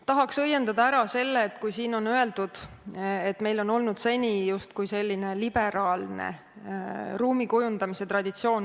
Tahaks õiendada ära selle, et siin öeldi, et meil oleks olnud seni justkui liberaalne ruumikujundamise traditsioon.